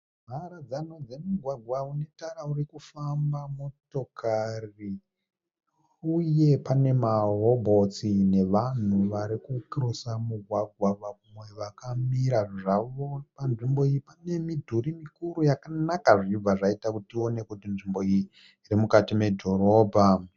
Mharadzano dzemigwagwa une tara uri kufamba motokari uye pane marobhotsi nevanhu vari kukirosa mugwagwa vamwe vakamira zvavo. Panzvimbo iyi pane midhuri mikuru yakanaka zvichibva zvaita kuti tione kuti nzvimbo iyi iri mukati medhorobha